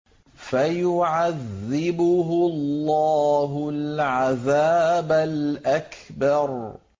فَيُعَذِّبُهُ اللَّهُ الْعَذَابَ الْأَكْبَرَ